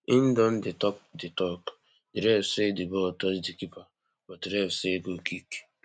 im don dey tok di tok di ref say di ball touch di keeper but ref say goalkick